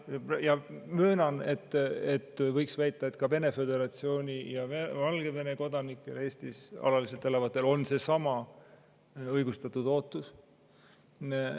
Ma möönan, et võib väita, et ka Vene föderatsiooni ja Valgevene kodanikel, kes Eestis alaliselt elavad, on seesama õigustatud ootus.